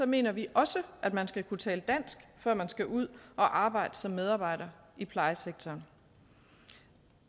mener vi også at man skal kunne tale dansk før man skal ud at arbejde som medarbejder i plejesektoren